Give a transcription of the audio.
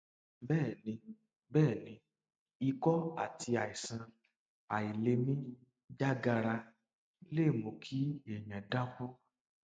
bẹẹ ni bẹẹ ni ikọ àti àìsàn àìlèmí já gaara lè mú kí èèyàn dákú